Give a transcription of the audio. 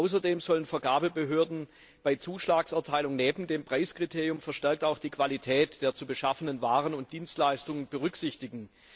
Außerdem sollen Vergabebehörden bei Zuschlagserteilung neben dem Preiskriterium verstärkt auch die Qualität der zu beschaffenden Waren und Dienstleistungen berücksichtigen.